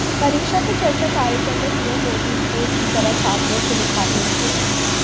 परीक्षा पे चर्चा कार्यक्रम में पीएम मोदी एक दोस्त की तरह छात्रों से मुखातिब हुए